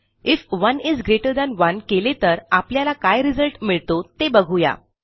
if 1 is greater than 1 केले तर आपल्याला काय रिझल्ट मिळतो ते बघू या